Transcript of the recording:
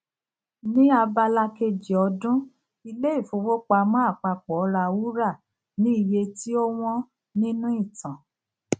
ni abala kejì ọdún ilé ìfowópamọ àpapọ ra wúrà ní iye tí ó wón nínú ìtàn